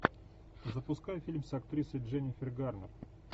запускай фильм с актрисой дженнифер гарнер